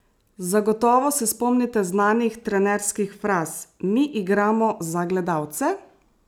Zagotovo se spomnite znanih trenerskih fraz: "Mi igramo za gledalce!